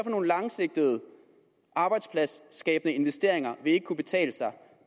nogle langsigtede arbejdspladsskabende investeringer vil ikke kunne betale sig